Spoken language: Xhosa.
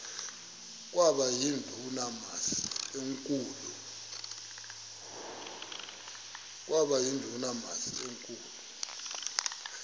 kwaba yindumasi enkulu